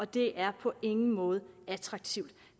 det er på ingen måde attraktivt